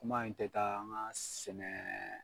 Kuma in tɛ taa an ka sɛnɛ